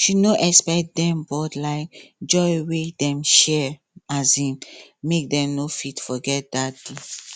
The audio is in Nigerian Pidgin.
she no expect dem but um joy wey dem share um make dem no fit forget dat day